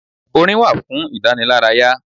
Orin wà fún ìdánilárayá.